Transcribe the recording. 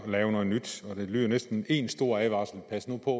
at lave noget nyt det lyder næsten en stor advarsel pas nu på